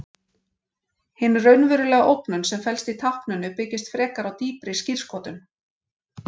Hin raunverulega ógnun sem felst í tákninu byggist frekar á dýpri skírskotun.